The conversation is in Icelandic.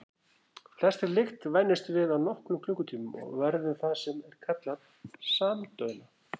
Flestri lykt venjumst við á nokkrum klukkutímum og verðum það sem er kallað samdauna.